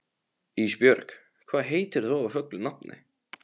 Ísbjörg, hvað heitir þú fullu nafni?